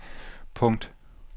punkt